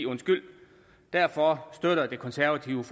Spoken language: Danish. derfor støtter de konservative